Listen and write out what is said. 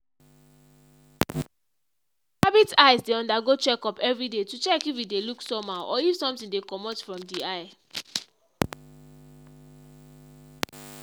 the rabbit’s eyes dey undergo check up every day to check if e dey look somehow or if something dey commot from the eye.